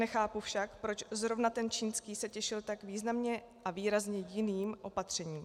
Nechápu však, proč zrovna ten čínský se těšil tak významně a výrazně jiným opatřením.